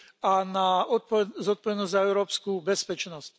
a na zodpovednosť za európsku bezpečnosť.